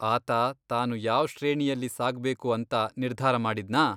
ಆತ ತಾನು ಯಾವ್ ಶ್ರೇಣಿಯಲ್ಲಿ ಸಾಗ್ಬೇಗು ಅಂತ ನಿರ್ಧಾರ ಮಾಡಿದ್ನಾ?